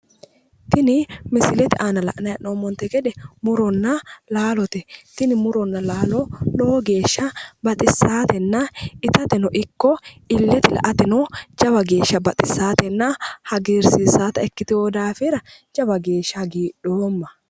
Tini misilete aana la'nayi hee'noommonte gede muronna laalote. Tini muronna laalo lowo geeshsha baxissaatenna itateno ikko illete la"ateno jawa geeshsha baxissaatenna hagiirssiissaata ikkitino daafira jawa geeshsha hagiidhoomma.